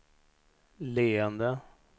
leende